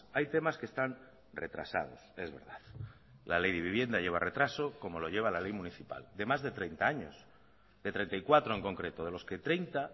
hay temas que están retrasados es verdad la ley de vivienda lleva retraso como lo lleva la ley municipal de más de treinta años de treinta y cuatro en concreto de los que treinta